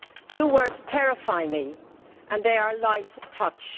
Two words terrify me, and they are light touch.